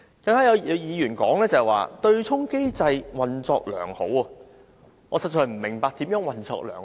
更有議員說對沖機制"運作良好"，我實在不明白這機制如何"運作良好"。